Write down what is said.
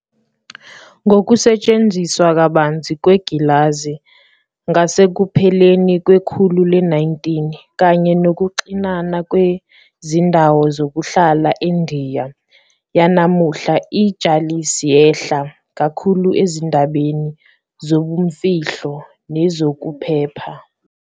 Ngokusetshenziswa kabanzi kwengilazi ngasekupheleni kwekhulu le-19, kanye nokuxinana kwezindawo zokuhlala eNdiya yanamuhla, i- "jalis yehla" kakhulu ezindabeni zobumfihlo nezokuphepha.